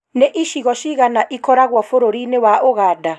nĩ ĩcigo cigana ĩkoragwo bũrũriinĩ wa Ũganda?